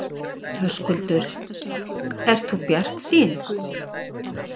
Höskuldur: Ert þú bjartsýn?